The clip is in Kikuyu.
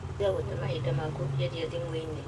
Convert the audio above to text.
Tiga gũte mahinda maku ũkĩaria thimũ-inĩ